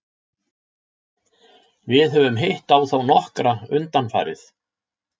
Við höfum hitt á þá nokkra undanfarið.